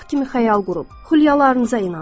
Uşaq kimi xəyal qurub, xülyalarınıza inanın.